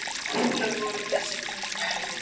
Upphaflega voru þessi tæki hönnuð fyrir grill